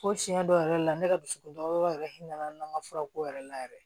Ko tiɲɛ dɔ yɛrɛ la ne ka dusukun da yɔrɔ yɛrɛ hinɛ nana na furako yɛrɛ la yɛrɛ